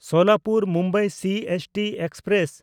Solapur Mumbai CST express